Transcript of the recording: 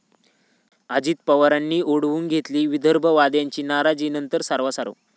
अजित पवारांनी ओढावून घेतली विदर्भवाद्यांची नाराजी नंतर सारवासारव!